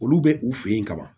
Olu bɛ u fɛ yen kaban